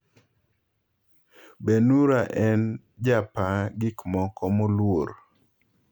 Benhura en japaa gikmoko moluor!"